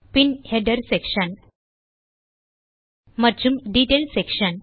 பின் header section மற்றும் detail section